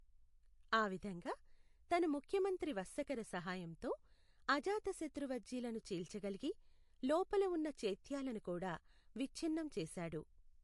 ఆ విధంగా, తన ముఖ్యమంత్రి వస్సకర సహాయంతో, అజాతశత్రు వజ్జీలను చీల్చగలిగి, లోపల ఉన్న చైత్యాలను కూడా విచ్ఛిన్నం చేశాడు.